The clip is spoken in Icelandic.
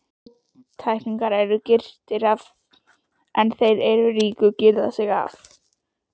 Fátæklingarnir eru girtir af en þeir ríku girða sig af.